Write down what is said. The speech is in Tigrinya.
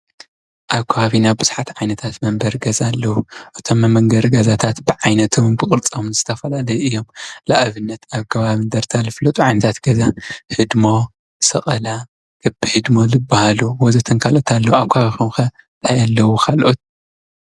ኣብ ከባቢና ብዙሓት ዓይነታት መንበሪ ገዛ ኣለዉ፡፡ እቶም መንበሪ ገዛታት ብዓይነቶምን ብቕርፆምን ዝተፈላለዩ እዮም፡፡ ንኣብነት ኣብ ከባቢ እንድርታ ዝፍለጡ ዓይነታት ገዛ ህድሞ፣ ሰቐላ፣ ክቢ ህድሞ ዝበሃሉ ወዘተ ካልኦት ዝበሃሉ እንተሃለዉ ኣብ ከባቢኹም ከ ታይ ኣለዉ?